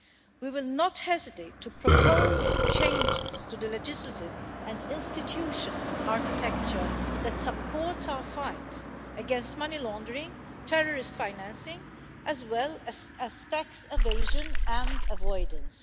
We will not hesitate to propose changes to the legislative and institutional architecture that supports our fight against money laundering, terrorist financing, as well as tax evasion and avoidance.